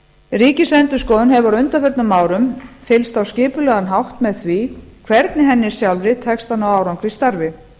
ríkisendurskoðun hefur á undanförnum árum fylgst á skipulegan hátt með því hvernig henni sjálfri tekst að ná árangri í starfi